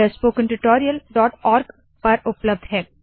यह स्पोकेन tutorialओआरजी पर उपलब्ध है